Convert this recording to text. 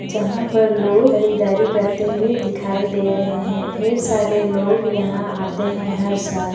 जहाँ पर लोग खरीदारी करते हुए दिखाई दे रहे है ढेर सारे लोग यहाँ आते हैं हर साल।